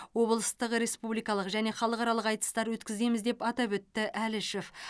облыстық республикалық және халықаралық айтыстар өткіземіз деп атап өтті әлішев